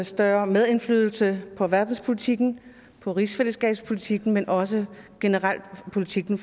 større medindflydelse på verdenspolitikken på rigsfællesskabspolitikken men også generelt på politikken